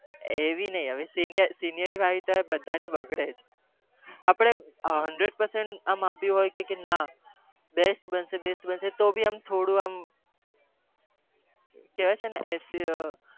એવી નહી મોટા થયા હોય ને બનાવી હોય તેવી